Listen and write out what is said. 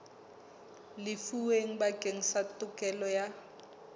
lefuweng bakeng sa tokelo ya